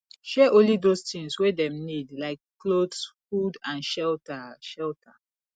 share only those things wey dem need like cloth food and shelter shelter